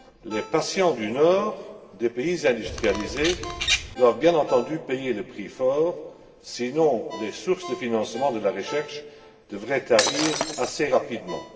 Les patients du nord, c'est à dire des pays industrialisés, doivent bien entendu payer le prix fort, sinon les sources de financement de la recherche devraient tarir assez rapidement.